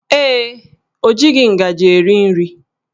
Ee, o jighị ngaji eri nri